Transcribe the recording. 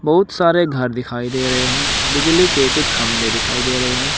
बहुत सारे घर दिखाई दे रहे हैं बिजली के कुछ खंबे दिखाई दे रहे हैं।